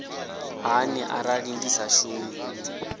hani arali ndi sa shumi